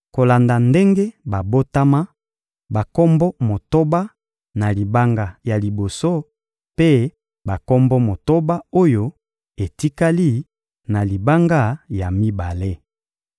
kolanda ndenge babotama: bakombo motoba na libanga ya liboso mpe bakombo motoba oyo etikali, na libanga ya mibale.